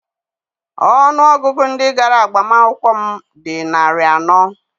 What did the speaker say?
Ọnụ ọgụgụ ndị gara agbamakwụkwọ m dị narị anọ